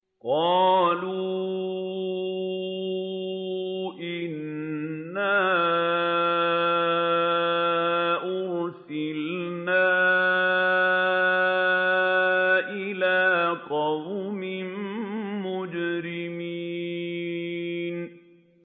قَالُوا إِنَّا أُرْسِلْنَا إِلَىٰ قَوْمٍ مُّجْرِمِينَ